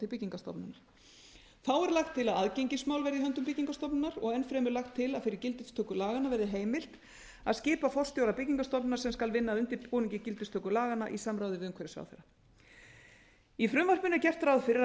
byggingarstofnunar lagt er til að aðgengismál verði í höndum byggingarstofnunar og enn fremur lagt til að fyrir gildistöku laganna verði heimilt að skipa forstjóra byggingarstofnunar sem skal vinna að undirbúningi gildistöku laganna í samráði viðumhverfisráðherra í frumvarpinu er gert ráð fyrir að